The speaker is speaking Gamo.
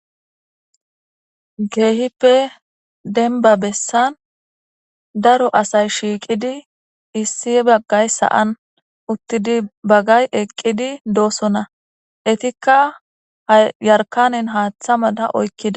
Keehippe dembba bessan daro asay shiiqidi issi baggay sa'an uttidi baggay eqqi doosona. Eetika yarkanen haatha mala oykida.